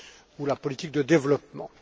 ou la politique de développement.